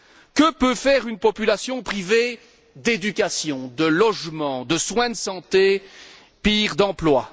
Que peut faire une population privée d'éducation, de logement, de soins de santé, pire, d'emploi?